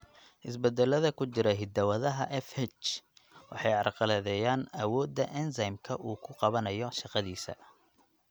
Isbeddellada ku jira hidda-wadaha FH waxay carqaladeeyaan awoodda enzyme-ka uu ku qabsanayo shaqadiisa.